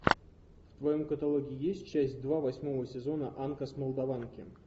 в твоем каталоге есть часть два восьмого сезона анка с молдаванки